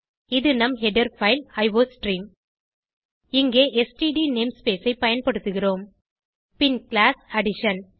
இது நம் header file iostream இங்கே ஸ்ட்ட் நேம்ஸ்பேஸ் ஐ பயன்படுத்துகிறோம் பின் கிளாஸ் அடிஷன்